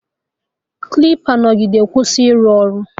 Klipa nọgide kwụsị ịrụ ọrụ